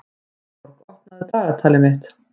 Steinborg, opnaðu dagatalið mitt.